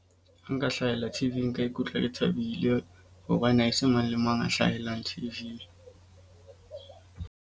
Nka hlahella T_V-ing nka ikutlwa ke thabile. Hobane ha se mang le mang a hlahelang T_V-ing.